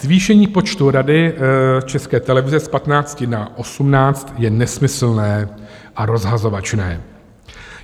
Zvýšení počtu Rady České televize z 15 na 18 je nesmyslné a rozhazovačné.